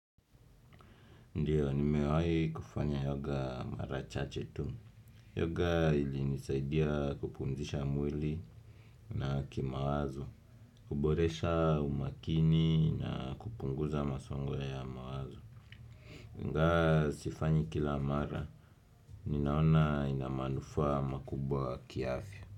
Ndio, nimewahi kufanya yoga mara chache tu. Yoga ilinisaidia kupumzisha mwili na kimawazo. Kuboresha umakini na kupunguza masongo ya mawazo. Ingawa sifanyi kila mara. Ninaona ina manufaa makubwa kiafya.